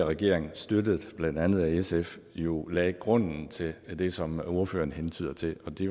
regering støttet af blandt andet sf jo lagde grunden til det som ordføreren hentyder til det